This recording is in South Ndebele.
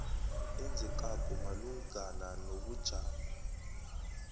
enzekako malungana nobujamo